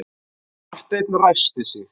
Marteinn ræskti sig.